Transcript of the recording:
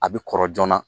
A bɛ kɔrɔ joona